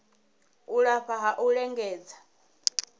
u lafha ha u lingedza